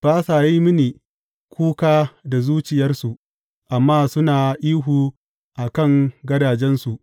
Ba sa yin mini kuka da zuciyarsu amma suna ihu a kan gadajensu.